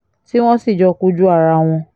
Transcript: tí wọ́n sì jọ kojú ara wọn